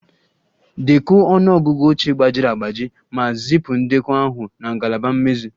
Dekọọ ọnụ ọgụgụ oche gbajiri agbaji ma zipụ ndekọ ahụ na ngalaba mmezi